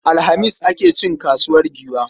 Alhamis ake cin kasuwar Giwa.